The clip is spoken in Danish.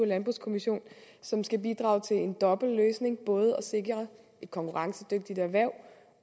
landbrugskommission som skal bidrage til en dobbelt løsning både at sikre et konkurrencedygtigt erhverv